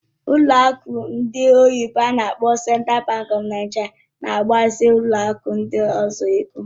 Ụlọ akụ ndị oyibo n'akpọ Central Bank of Nigeria na-agbazinye ụlọ akụ ndị ọzọ ego.